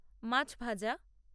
মাছ ভাজা